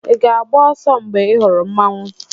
ị ga-agba ọsọ mgbe ị hụrụ Mmanwu?